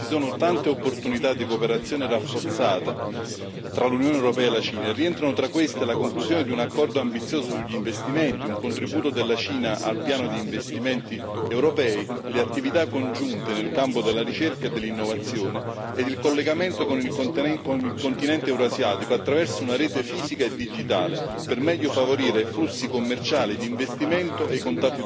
Ci sono tante opportunità di cooperazione rafforzata tra l'Unione europea e la Cina e rientrano tra queste la conclusione di un accordo ambizioso sugli investimenti, un contributo della Cina al piano di investimenti europei, le attività congiunte nel campo della ricerca e dell'innovazione e il collegamento con il continente Eurasiatico, attraverso una rete fisica e digitale, per meglio favorire flussi commerciali e di investimento e i